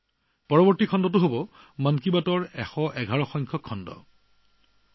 তাৰ পিছত যেতিয়া মন কী বাতৰ সৈতে সংযোগ কৰা হব তেতিয়া হব মন কী বাতৰ ১১১ সংখ্যক খণ্ড